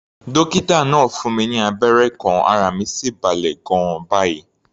Dókítà náà fún mi ní abẹ́rẹ́ kan, ara mi sì balẹ̀ gan-an báyìí.